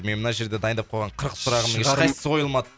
мен мына жерде дайындап қойған қырық сұрағымның ещқайсысы қойылмады